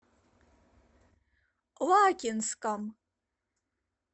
лакинском